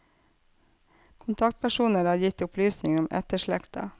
Kontaktpersoner har gitt opplysninger om etterslekta.